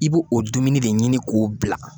I b'o o dumuni de ɲini k'o bila